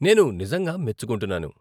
నేను నిజంగా మెచ్చుకుంటున్నాను.